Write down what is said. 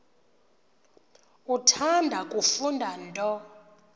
uthanda kufunda nto